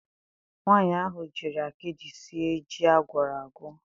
Nwanyị ahụ jiri akịdị sie ji a gwọrọ agwọ.